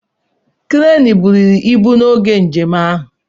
Cranes buliri ibu n'oge njem ahụ.